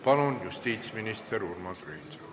Palun, justiitsminister Urmas Reinsalu!